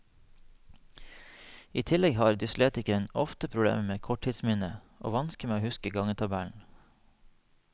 I tillegg har dyslektikeren ofte problemer med korttidsminnet og vansker med å huske gangetabellen.